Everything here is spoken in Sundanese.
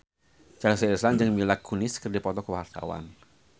Chelsea Islan jeung Mila Kunis keur dipoto ku wartawan